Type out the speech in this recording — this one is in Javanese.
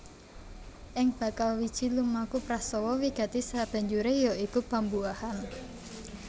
Ing bakal wiji lumaku prastawa wigati sabanjuré ya iku pambuahan